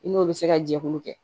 I n'o bɛ se ka jɛkulu kɛ